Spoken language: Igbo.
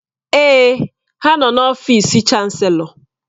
Èè, ha nọ n'ọfịs Chanselọ